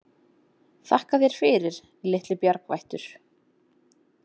Þakka þér fyrir, litli bjargvættur